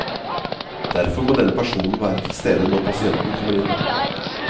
Derfor må denne personen være til stede når pasienten kommer inn.